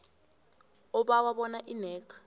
obawa bona inac